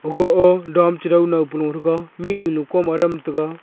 aga ah dam che dau no pe lung thega mihnyu am kom adam tega.